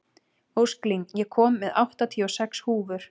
Ósklín, ég kom með áttatíu og sex húfur!